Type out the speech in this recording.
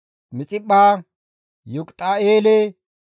Laakishe, Boxiqaate, Egiloone,